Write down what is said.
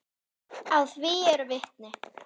Að því eru vitni.